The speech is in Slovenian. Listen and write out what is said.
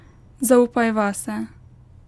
Zaupaj vase.